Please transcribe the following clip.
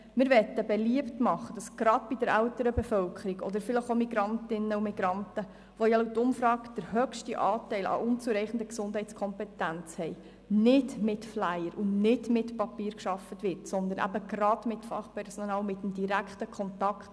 Wir möchten beliebt machen, gerade bei der älteren Bevölkerung oder auch bei den Migrantinnen und Migranten, bei denen ja laut Umfrage der Anteil Personen mit unzureichender Gesundheitskompetenz am höchsten ist, nicht mit Flyern und nicht mit Papier zu arbeiten, sondern mit Fachpersonal, mit dem direkten Kontakt.